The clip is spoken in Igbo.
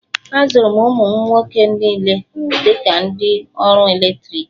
Azụrụ m ụmụ m nwoke niile dị ka ndị ọrụ eletriki.